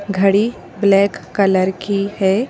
घड़ी black colour की है।